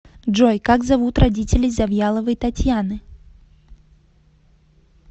джой как зовут родителей завьяловой татьяны